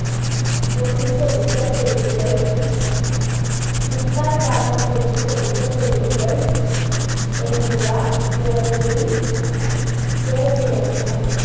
പിടിച്ചെടുത്ത ചേരുവകൾ മുക്കാൽ ഭാഗം പിടിച്ചെടുത്ത ചേരുവകൾ എന്നിവ ഇറച്ചിയിൽ ചേർത്തിളക്കണം